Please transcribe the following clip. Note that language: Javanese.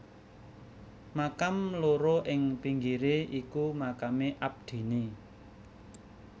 Makam loro ing pinggire iku makame abdine